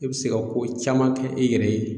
I bɛ se ka ko caman kɛ i yɛrɛ ye